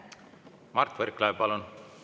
Mart Võrklaev, palun!